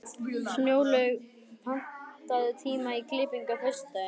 Snjólaug, pantaðu tíma í klippingu á föstudaginn.